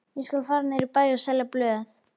Ég skal fara niður í bæ og selja blöð.